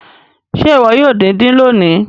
Ṣe iwọ yoo din-din loni?